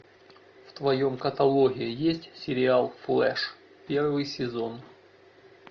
в твоем каталоге есть сериал флэш первый сезон